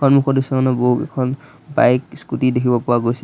সন্মুখৰ দৃশ্যখনত বহুকেইখন বাইক স্কুটি দেখিব পোৱা গৈছে।